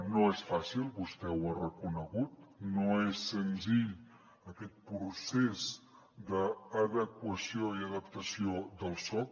no és fàcil vostè ho ha reconegut no és senzill aquest procés d’adequació i adaptació del soc